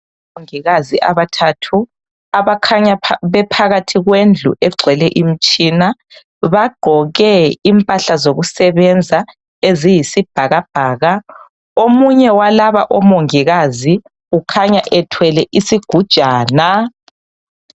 Omongikazi abathathu abakhanya bephakathi kwendlu egcwele imitshina bagqoke impahla zokusebenza eziyisibhakabhaka . Omunye walaba omongikazi u khanya ethwele isigujana .